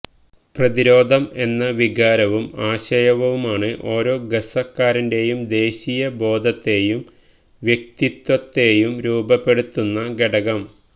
പ്രതിരോധം എന്ന വികാരവും ആശയവുമാണ് ഓരോ ഗസ്സക്കാരന്റെയും ദേശീയ ബോധത്തെയും വ്യക്തിത്വത്തെയും രൂപപ്പെടുത്തുന്ന ഘടകം